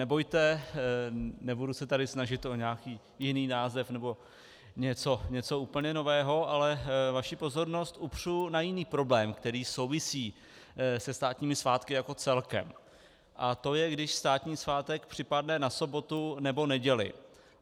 Nebojte, nebudu se tady snažit o nějaký jiný název nebo něco úplně nového, ale vaši pozornost upřu na jiný problém, který souvisí se státními svátky jako celkem, a to je, když státní svátek připadne na sobotu nebo neděli.